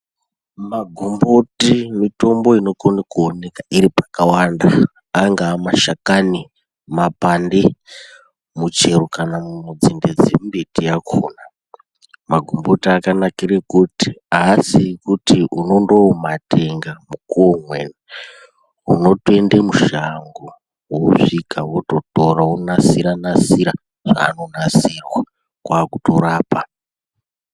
Magomboti mitombo inokono kuoneka iri pakawanda. Angaa mashakani, mapande, muchero kana nzinde dzembiti yakona. Magomboti akanakire kuti haasi ekuti unondoomatenga mukuwo umweni. Unotoende mushango wosvika, wototora, wonasira-nasira zvaanonasirwa, kwakutorapa.